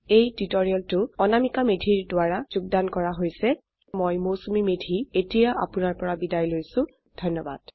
এই টিউটোৰিয়েল অনামিকা মেধি দ্ৱাৰা যোগদান কৰা হৈছ আই আই টী বম্বে ৰ পৰা মই মৌচুমী মেধী এতিয়া আপুনাৰ পৰা বিদায় লৈছো যোগদানৰ বাবে ধন্যবাদ